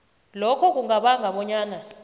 lokho kungabanga bonyana